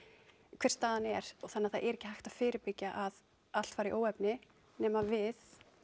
hver staðan er þannig að það er ekki hægt að fyrirbyggja að allt fari í óefni nema við